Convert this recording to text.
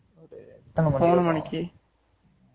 மூணு மணிக்கு